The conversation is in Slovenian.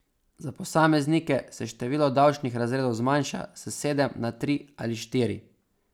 Za posameznike se število davčnih razredov zmanjša s sedem na tri ali štiri.